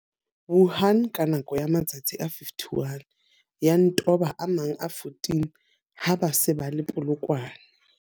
Wuhan ka nako ya matsatsi a 51, ya nto ba a mang a 14 ha ba se ba le Polokwane.